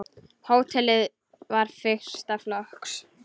Hótelið var fyrsta flokks.